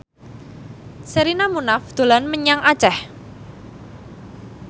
Sherina Munaf dolan menyang Aceh